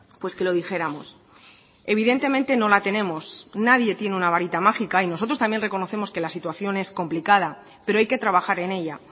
pues que lo dijéramos evidentemente no la tenemos nadie tiene una varita mágica y nosotros también reconocemos que la situación es complicada pero hay que trabajar en ella